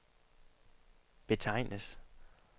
betegnes